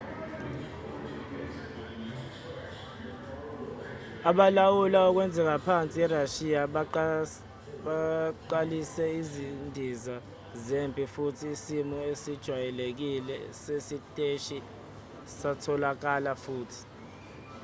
abalawula okwenzeka phansi erashiya baqalise izindiza zempi futhi isimo esijwayelekile sesiteshi satholakala futhi